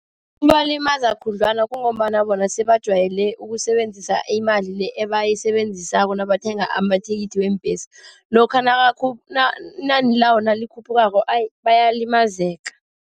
Kubalimaza khudlwana, kungombana bona sebajwayele ukusebenzisa imali le ebayisebenzisako nabathenga amathikithi weembesi. Lokha inani lawo nalikhuphukako bayalimazeka.